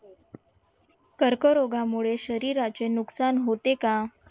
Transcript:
कर्करोगामुळे शरीराचे नुकसान होते का?